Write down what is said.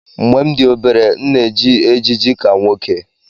Mgbe m dị obere, m na-eji ejiji ka nwoke